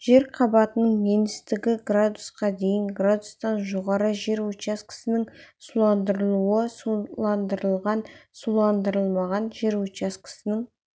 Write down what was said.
жер қабатының еңістігі градусқа дейін градустан жоғары жер учаскесінің суландырылуы суландырылған суландырылмаған жер учаскесінің